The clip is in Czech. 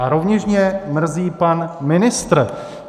A rovněž mě mrzí pan ministr.